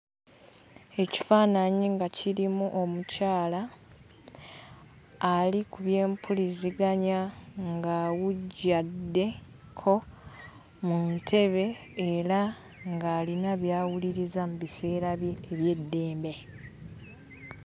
Ekifaananyi nga kirimu omukyala ali ku byempuliziganya ng'awujjaddeko mu ntebe era ng'alina by'awuliriza mu biseera bye eby'eddembe.